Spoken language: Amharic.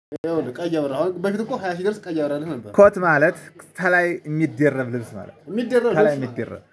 ቀይ አብራ አሁን በፊት እኮ ሃያ ሺህ ድረስ ቀይ አብራ ነበር ኮት ማለት ተላይ የሚደረብ ልብስ ማለት ነው። የሚደረብ ተላይ የሚደረብ